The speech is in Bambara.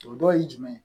O dɔ ye jumɛn ye